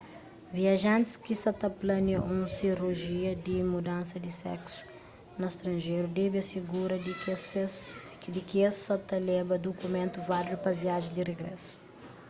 viajantis ki sa plania un sirujia di mudansa di seksu na stranjeru debe asigura di ki es sa ta leba dukumentu válidu pa viajen di rigrésu